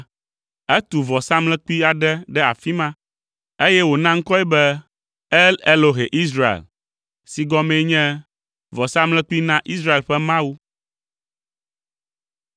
Etu vɔsamlekpui aɖe ɖe afi ma, eye wòna ŋkɔe be, “El-Elohe-Israel” si gɔmee nye “Vɔsamlekpui na Israel ƒe Mawu.”